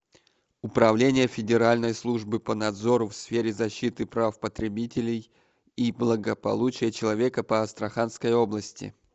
управление федеральной службы по надзору в сфере защиты прав потребителей и благополучия человека по астраханской области